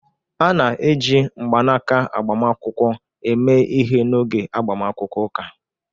A na-eji mgbanaka agbamakwụkwọ eme ihe n'oge agbamakwụkwọ ụka